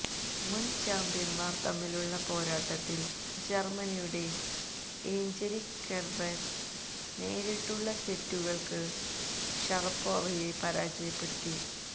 മുൻ ചാംപ്യൻമാർ തമ്മിലുള്ള പോരാട്ടത്തിൽ ജർമനിയുടെ എയ്ഞ്ചലിക് കെർബർ നേരിട്ടുള്ള സെറ്റുകൾക്ക് ഷറപ്പോവയെ പരാജയപ്പെടുത്തി